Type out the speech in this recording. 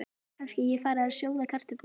Kannski ég fari að sjóða kartöflur.